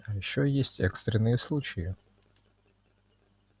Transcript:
а ещё есть экстренные случаи